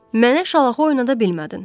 Mənə şalaxı oynada bilmədin.